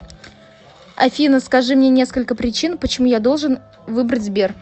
афина скажи мне несколько причин почему я должен выбрать сбер